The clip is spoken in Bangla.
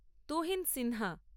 তুহিন সিনহা